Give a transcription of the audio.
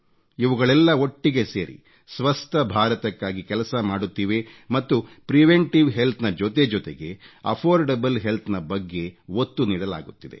ಇವುಗಳೆಲ್ಲ ಒಟ್ಟಿಗೆ ಸೇರಿ ಸ್ವಸ್ಥಭಾರತಕ್ಕಾಗಿ ಕೆಲಸ ಮಾಡುತ್ತಿವೆ ಮತ್ತು ಪ್ರಿವೆಂಟಿವ್ ಹೆಲ್ತ್ ನ ಜೊತೆಜೊತೆಗೆ ಅಫೋರ್ಡಬಲ್ ಹೆಲ್ತ್ ನ ಬಗ್ಗೆ ಒತ್ತು ನೀಡಲಾಗುತ್ತಿದೆ